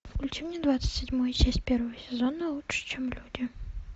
включи мне двадцать седьмую часть первого сезона лучше чем люди